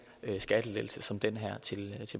skattelettelse som den her til